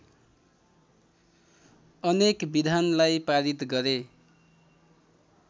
अनेक विधानलाई पारित गरे